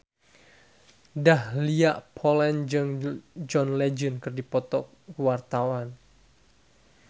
Dahlia Poland jeung John Legend keur dipoto ku wartawan